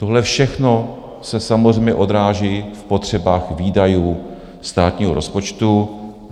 Tohle všechno se samozřejmě odráží v potřebách výdajů státního rozpočtu.